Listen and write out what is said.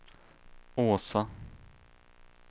Åsa